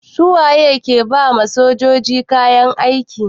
Su waye ke ba ma sojoji kayan aiki?